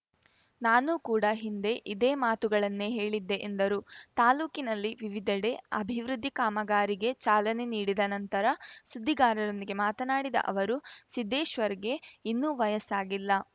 ನಾನೂ ಕೂಡಾ ಹಿಂದೆ ಇದೇ ಮಾತುಗಳನ್ನೇ ಹೇಳಿದ್ದೆ ಎಂದರು ತಾಲೂಕಿನಲ್ಲಿ ವಿವಿಧೆಡೆ ಅಭಿವೃದ್ಧಿ ಕಾಮಗಾರಿಗೆ ಚಾಲನೆ ನೀಡಿದ ನಂತರ ಸುದ್ದಿಗಾರರೊಂದಿಗೆ ಮಾತನಾಡಿದ ಅವರು ಸಿದ್ದೇಶ್ವರ್‌ಗೆ ಇನ್ನೂ ವಯಸ್ಸಾಗಿಲ್ಲ